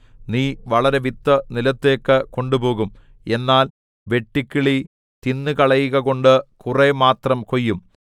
നീ വളരെ വിത്ത് നിലത്തിലേക്ക് കൊണ്ടുപോകും എന്നാൽ വെട്ടുക്കിളി തിന്നുകളയുകകൊണ്ട് കുറെ മാത്രം കൊയ്യും